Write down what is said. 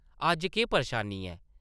अज्ज केह् परेशानी ऐ?